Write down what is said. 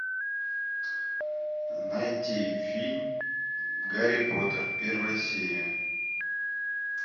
найти фильм гарри поттер первая серия